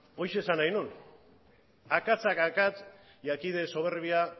horixe esan nahi nuen akatsak akats y aquí de soberbia